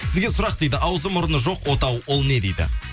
сізге сұрақ дейді ауызы мұрны жоқ отау ол не дейді